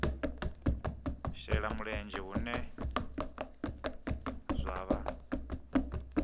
shela mulenzhe hune zwa vha